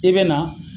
I bɛ na